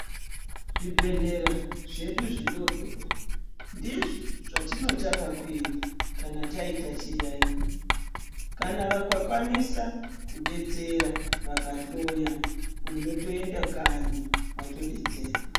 Zvibhehlera zvedu zvidoodori ndizvo zvatinotanga kuenda kana taita chiyaiyo. Kana vakakwanisa kudetsera vakahloya unotoenda kanyi watodetserwa.